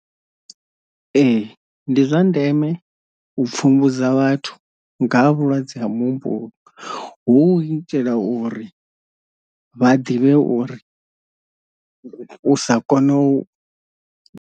Ee ndi zwa ndeme u pfhumbudza vhathu nga ha vhulwadze ha mutumbu hu itela uri vha ḓivhe uri u sa kona u.